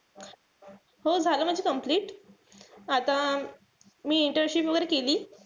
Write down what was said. हो झालं माझं complete. आता मी internship वगैरे केली.